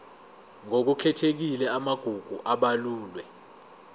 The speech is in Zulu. ngokukhethekile amagugu abalulwe